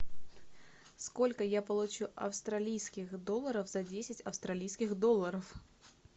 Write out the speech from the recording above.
сколько я получу австралийских долларов за десять австралийских долларов